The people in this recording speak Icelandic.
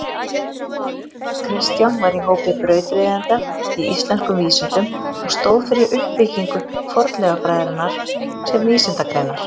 Kristján var í hópi brautryðjenda í íslenskum vísindum og stóð fyrir uppbyggingu fornleifafræðinnar sem vísindagreinar.